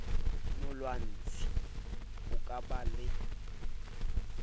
molwantshi ho ka ba le